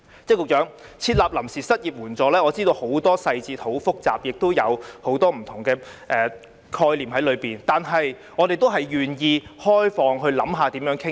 局長，要設立臨時失業援助金，我知道有很多細節，很複雜，當中亦有很多不同的概念，但我們也願意開放地討論。